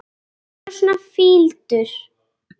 Hún þaut af stað.